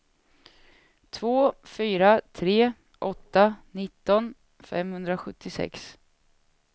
två fyra tre åtta nitton femhundrasjuttiosex